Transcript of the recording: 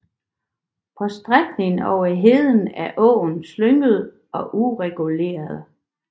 På strækningen over heden er åen slynget og ureguleret